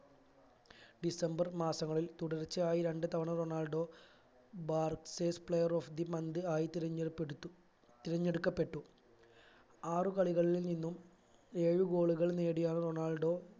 December മാസങ്ങളിൽ തുടർച്ചയായി രണ്ടുതവണ റൊണാൾഡോ ബാർസെസ് player of the month ആയി തിരഞ്ഞപെടുത്തു തിരഞ്ഞെടുക്കപ്പെട്ടു ആറുകളികളിൽ നിന്നും ഏഴു goal കൾ നേടിയാണ് റൊണാൾഡോ